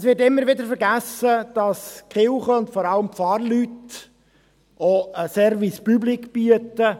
Es wird immer wieder vergessen, dass die Kirche, und vor allem die Pfarrleute, auch einen Service Public bieten.